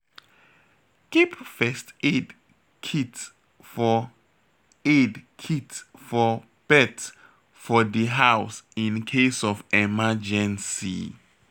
Keep first aid kit for aid kit for pet for di house in case of emergency